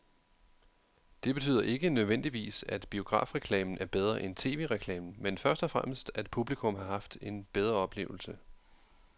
Det betyder ikke nødvendigvis, at biografreklamen er bedre end tv-reklamen, men først og fremmest at publikum har haft en bedre oplevelse.